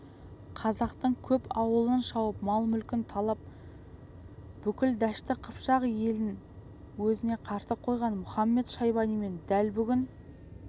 қазақтың көп аулын шауып мал-мүлкін талап бүкіл дәшті қыпшақ елін өзіне қарсы қойған мұхамед-шайбанимен дәл бүгін